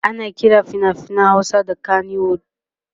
ana Kiran finafinan Hausa da kanywood